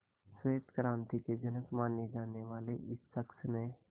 श्वेत क्रांति के जनक माने जाने वाले इस शख्स ने